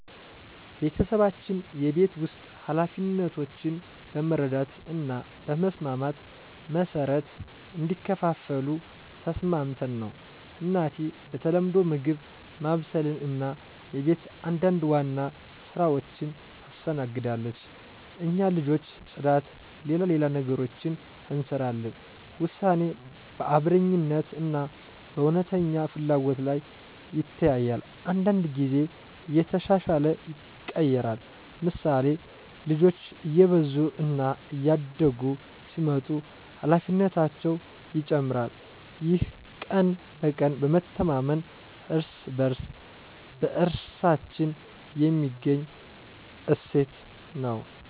ቤተሰባችን የቤት ውስጥ ኃላፊነቶችን በመረዳት እና በመስማማት መሠረት እንዲከፋፈሉ ተስማምተን ነው። እናቴ በተለምዶ ምግብ ማብሰልን እና የቤት አንዳንድ ዋና ሥራዎችን ታስተናግዳለች። እኛ ልጆች ጽዳት፣ ሌላ ሌላ ነገሮችን እንሰራለን ውሳኔ በአብረኛነት እና በእውነተኛ ፍላጎት ላይ ይተያያል። አንዳንድ ጊዜ እየተሻሻለ ይቀየራል፤ ምሳሌ፣ ልጆች እየበዙ እና እያደጉ ሲመጡ ኃላፊነታቸው ይጨመራል። ይህ ቀን በቀን በመተማመን እና በእርስ በእርሳችን የሚገኝ እሴት ነው።